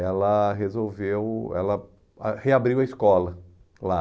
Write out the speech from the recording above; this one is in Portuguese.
ela resolveu, ela ah reabriu a escola lá.